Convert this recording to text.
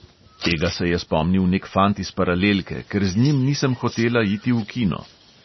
Tega se je spomnil nek fant iz paralelke, ker z njim nisem hotela iti v kino.